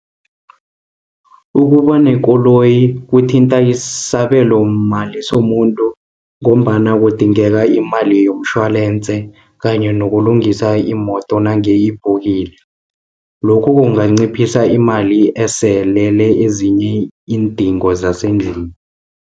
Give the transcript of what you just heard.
Ukubanekoloyi kuthinta isabelomali somuntu, ngombana kudingeka imali yomtjholense, kanye nokulungisa imoto nange iphukile. Lokhu kunganciphisa imali eselele ezinye iindingo zasendlini.